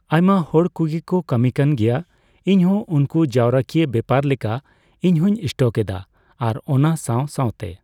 ᱟᱭᱢᱟ ᱦᱚᱲ ᱠᱩᱜᱮ ᱠᱚ ᱠᱟᱹᱢᱤ ᱠᱟᱱ ᱜᱮᱭᱟ ᱾ ᱤᱧ ᱦᱚᱸ ᱩᱱᱠᱩ ᱡᱟᱣᱨᱟᱠᱤᱭᱟᱹ ᱵᱮᱯᱟᱨ ᱞᱮᱠᱟ ᱤᱧᱦᱩᱸᱧ ᱥᱴᱚᱠ ᱮᱫᱟ ᱾ ᱟᱨ ᱚᱱᱟ ᱥᱟᱣᱼᱥᱟᱣᱛᱮ